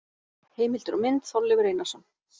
Heimildir og mynd: Þorleifur Einarsson.